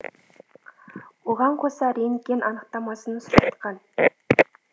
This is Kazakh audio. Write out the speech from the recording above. оған қоса рентген анықтамасын сұратқан